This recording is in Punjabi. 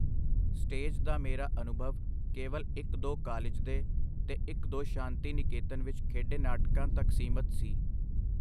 ਸਟੇਜ ਦਾ ਮੇਰਾ ਅਨੁਭਵ ਕੇਵਲ ਇਕ-ਦੋ ਕਾਲਿਜ ਦੇ ਤੇ ਇਕ-ਦੋ ਸ਼ਾਂਤੀ ਨਿਕੇਤਨ ਵਿਚ ਖੇਡੇ ਨਾਟਕਾਂ ਤਕ ਸੀਮਤ ਸੀ.